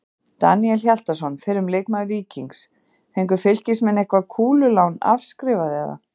Daníel Hjaltason, fyrrum leikmaður Víkings: fengu fylkismenn eitthvað kúlulán afskrifað eða?